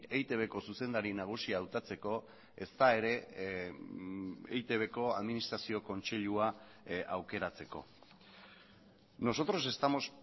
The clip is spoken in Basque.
eitbko zuzendari nagusia hautatzeko ezta ere eitbko administrazio kontseilua aukeratzeko nosotros estamos